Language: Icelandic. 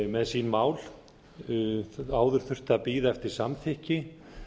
með sín mál áður þurfti að bíða eftir samþykki